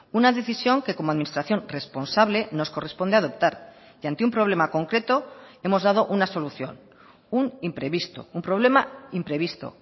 una decisión que como administración responsable nos corresponde adoptar y ante un problema concreto hemos dado una solución un imprevisto un problema imprevisto